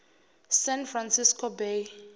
san francisco bay